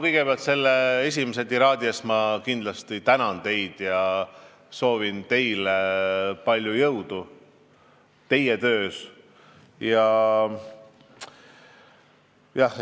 Kõigepealt ma kindlasti tänan teid selle alguses kõlanud tiraadi eest ja soovin teile palju jõudu teie töös!